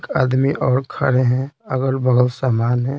आदमी और खड़े हैं अगल-बगल सामान है।